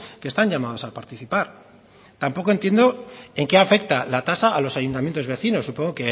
que están llamados a participar tampoco entiendo en qué afecta la tasa a los ayuntamientos vecinos supongo